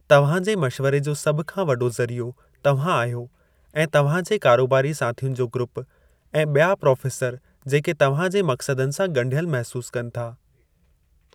तव्हां जे मशिवरे जो सभु खां वॾो ज़रियो तव्हां आहियो ऐं तव्हां जा कारोबारी साथियुनि जो ग्रूपु ऐं ॿिया प्रोफ़ेसरु जेके तव्हां जे मक़्सदनि सां गं॒ढियल महिसूस कनि था।